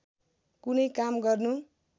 कुनै काम गर्नु